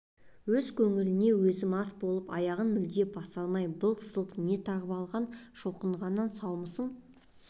өз көңіліне өзі мас болып аяғын мүлде баса алмай былқ-сылқ не тағып алған шоқынғаннан саусың